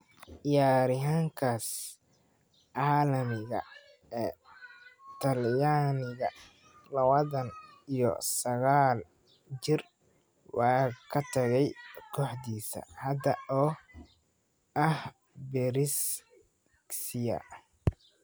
Ciyaaryahankaas caalamiga ee Talyaaniga, lawatan iyo saqal jir, waa ka tagaya kooxdiisa hadda oo ah Brescia.